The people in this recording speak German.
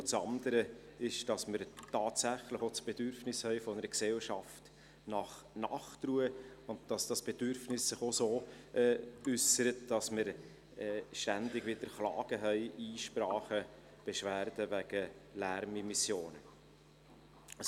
Das andere ist, dass wir tatsächlich auch das Bedürfnis einer Gesellschaft nach Nachtruhe haben und dass dieses Bedürfnis sich auch so äussert, dass wir ständig wieder Klagen, Einsprachen und Beschwerden wegen Lärmimmissionen haben.